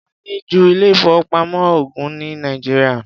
A ní ju ilé-ìfowópamọ́ ogún ní Nàìjíríà.